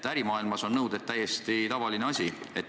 Ärimaailmas on nõuded täiesti tavaline asi.